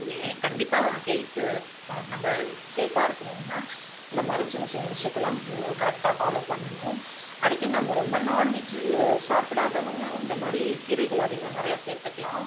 கண்டிப்பா health நம்ம safe ஆ இருக்கணும்னா இந்த மாதிரி சின்ன சின்ன விஷயத்தல்லாம் correct ஆ follow பண்ணணும் அடிக்கடி நம்ம ரொம்ப non-veg சாப்பிடாதவங்க இந்தமாதிரி கீரைகளை அதிகமா நிறைய சேர்த்துக்கலாம்